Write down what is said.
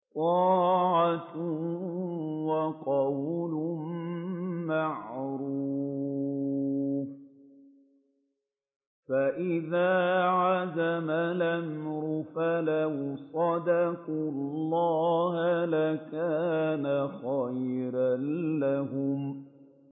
طَاعَةٌ وَقَوْلٌ مَّعْرُوفٌ ۚ فَإِذَا عَزَمَ الْأَمْرُ فَلَوْ صَدَقُوا اللَّهَ لَكَانَ خَيْرًا لَّهُمْ